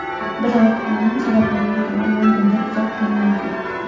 Biroq ma’lum sabablarga ko‘ra Londonda uzoq qolmaydi.